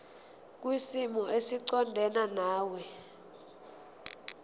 kwisimo esiqondena nawe